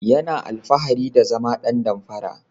Yana alfahari da zama dan damfara.